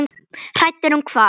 Hræddur um hvað?